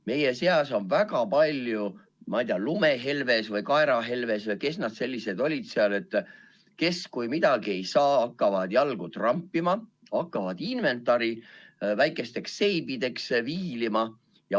Meie seas on väga palju, ma ei tea, lumehelbekesi või kaerahelbekesi või kes nad sellised olid seal, kes, kui midagi ei saa, hakkavad jalgu trampima ja inventari väikesteks seibideks viilima.